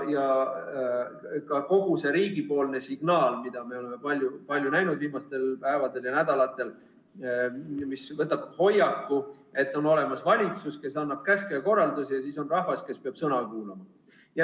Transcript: Ja kogu riigi antav signaal, mida me oleme palju näinud viimastel päevadel ja nädalatel, võtab hoiaku, et on olemas valitsus, kes annab käske ja korraldusi, ja siis on rahvas, kes peab sõna kuulama.